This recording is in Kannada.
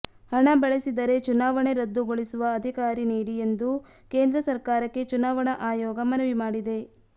ಹಣ ಬಳಸಿದರೆ ಚುನಾವಣೆ ರದ್ದುಗೊಳಿಸುವ ಅಧಿಕಾರಿ ನೀಡಿ ಎಂದು ಕೇಂದ್ರ ಸರ್ಕಾರಕ್ಕೆ ಚುನಾವಣಾ ಅಯೋಗ ಮನವಿ ಮಾಡಿದೆ